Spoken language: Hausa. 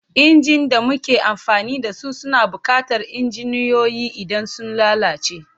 Injin da muke amfani da su suna buƙatar injiniyoyi idan sun lalace.